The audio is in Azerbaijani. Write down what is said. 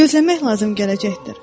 Gözləmək lazım gələcəkdir.